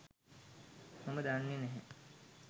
මම දන්නෙ නැහැ.